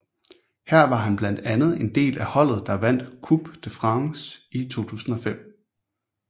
Her var han blandt andet en del af holdet der vandt Coupe de France i 2005